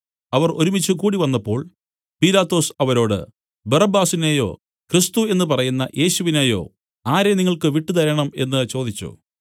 അവർ ഒരുമിച്ചു കൂടിവന്നപ്പോൾ പീലാത്തോസ് അവരോട് ബറബ്ബാസിനെയോ ക്രിസ്തു എന്നു പറയുന്ന യേശുവിനെയോ ആരെ നിങ്ങൾക്ക് വിട്ടുതരണം എന്നു ചോദിച്ചു